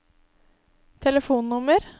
telefonnummer